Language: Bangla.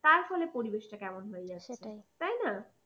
তার ফলে পরিবেশটা কেমন হয়ে যাচ্ছে সেটাই তাই না!